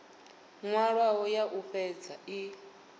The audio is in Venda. nwalwaho ya u fhedza i